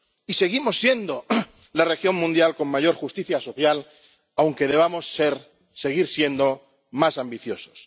y seguimos siendo la región mundial con mayor justicia social, aunque debamos seguir siendo más ambiciosos.